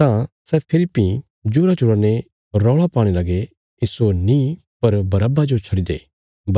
तां सै फेरी भीं जोराजोरा ने रौल़ा पाणे लगे इस्सो नीं पर बरअब्बा जो छड्डी दे